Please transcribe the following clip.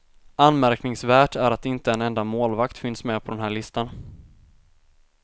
Anmärkningsvärt är att inte en enda målvakt finns med på den här listan.